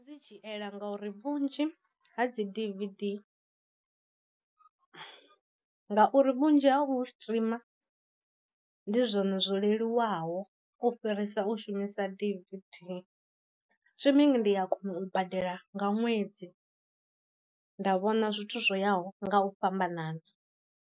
Dzi dzhiela ngauri vhunzhi ha dzi dvd ngauri vhunzhi ha vhu streamer ndi zwone zwo leluwaho u fhirisa u shumisa dvd, streaming ndi ya kona u badela nga ṅwedzi nda vhona zwithu zwoyaho nga u fhambanana.